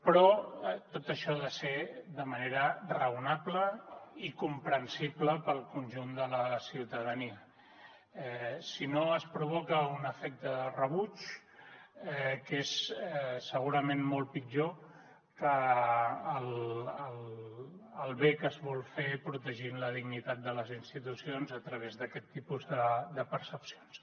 però tot això ha de ser de manera raonable i comprensible per al conjunt de la ciutadania si no es provoca un efecte de rebuig que és segurament molt pitjor que el bé que es vol fer protegint la dignitat de les institucions a través d’aquest tipus de percepcions